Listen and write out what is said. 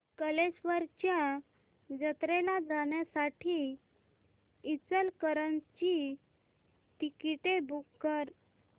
कल्लेश्वराच्या जत्रेला जाण्यासाठी इचलकरंजी ची तिकिटे बुक कर